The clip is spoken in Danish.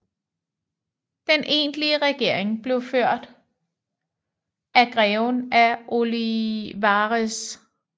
Den egentlige regering blev ført af Greven af Olivares